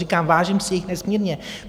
Říkám, vážím si jejich nesmírně.